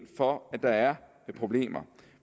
for at der er problemer